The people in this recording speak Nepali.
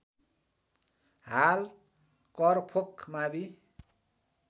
हाल करफोक मावि